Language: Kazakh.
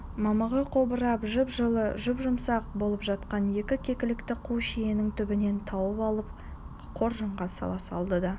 мамығы қобырап жып жылы жұп-жұмсақ болып жатқан екі кекілікті қу шиенің түбінен тауып алып қоржынға сала салды да